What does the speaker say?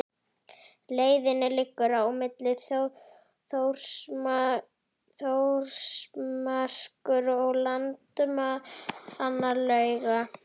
Leiðin liggur milli Þórsmerkur og Landmannalauga.